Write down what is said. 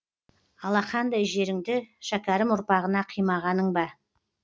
алақандай жеріңді шәкерім ұрпағына қимағаның ба